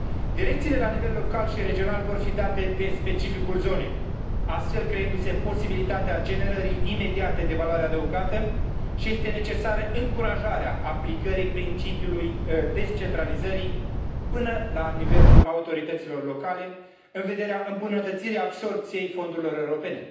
Direcțiile la nivel local și regional vor fi date de specificul zonei, astfel creându se posibilitatea generării imediate de valoare adăugată, și este necesară încurajarea aplicării principiului descentralizării până la nivelul autorităților locale, în vederea îmbunătățirii absorbției fondurilor europene.